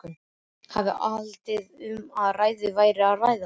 Hafði haldið að um öfugugga væri að ræða.